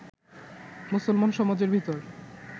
মুসলমান সমাজের ভেতর